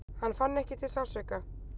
Hann fann ekki til sársauka.